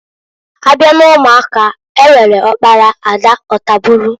Abia n'umuaka, e nwere ọkpara, ada, ọtabulu.